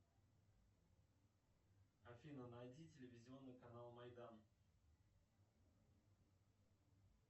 афина найди телевизионный канал майдан